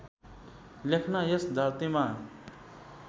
लेख्न यस धरतीमा